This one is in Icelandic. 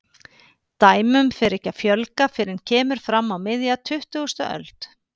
Dæmum fer ekki að fjölga fyrr en kemur fram á miðja tuttugustu öld.